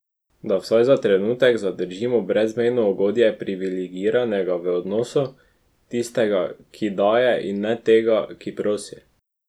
Da vsaj za trenutek zadržimo brezmejno ugodje priviligiranega v odnosu, tistega, ki daje in ne tega, ki prosi.